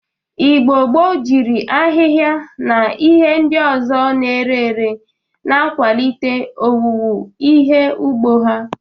Igbo gboo jiri ahịha na ihe ndị ọzọ na-ere ere na-akwalite owuwu ihe ugbo ha.